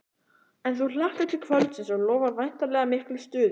En þú hlakkar til kvöldsins og lofar væntanlega miklu stuði?